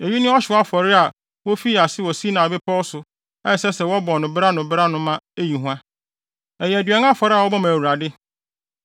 Eyi ne ɔhyew afɔre a wofii ase wɔ Sinai Bepɔw so a ɛsɛ sɛ wɔbɔ no bere ano bere ano ma eyi hua. Ɛyɛ aduan afɔre a wɔbɔ ma Awurade.